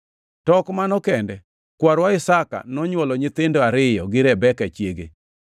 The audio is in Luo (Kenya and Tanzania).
To ok mano kende; kwarwa Isaka nonywolo nyithindo ariyo gi Rebeka chiege.